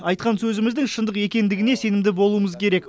айтқан сөзіміздің шындық екендігіне сенімді болуымыз керек